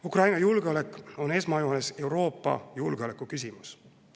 Ukraina julgeolek on esmajoones Euroopa julgeoleku küsimus.